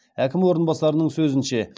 әкім орынбасарының сөзінше